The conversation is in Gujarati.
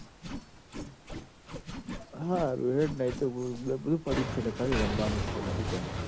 હારું હેડ ન એતો મુ બધું પડ્યું જ છ લ્યા ખાલી રમબાનું જ છ બીજું કોઈ નઈ